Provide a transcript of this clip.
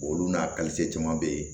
Olu n'a caman bɛ yen